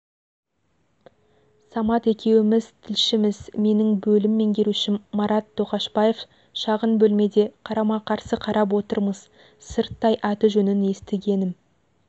самат екеуіміз тілшіміз менің бөлім меңгерушім марат тоқашбаев шағын бөлмеде қарама-қарсы қарап отырмыз сырттай аты-жөнін естігенім